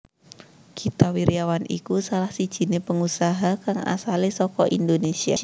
Gita Wirjawan iku salah sijiné pengusaha kang asalé saka Indonésia